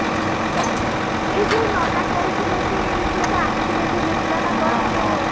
ଅହୋ ଏଇ କଣ ନନା କହୁଥିଲେ କି ଯୋଉ ଗୋଟେ accident ହେଇଯାଇଥିଲେ ନା କଣ ଯୋଉ